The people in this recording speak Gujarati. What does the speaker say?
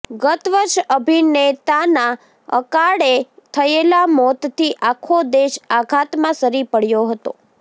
ગત વર્ષે અભિનેતાના અકાળે થયેલા મોતથી આખો દેશ આઘાતમાં સરી પડ્યો હતો